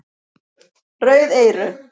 Rauð eyru